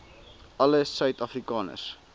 alle suid afrikaners